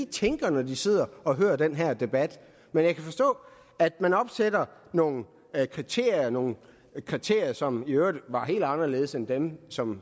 tænker når de sidder og hører den her debat men jeg kan forstå at man opstiller nogle kriterier nogle kriterier som i øvrigt er helt anderledes end dem som